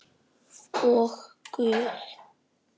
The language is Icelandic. Og Guð.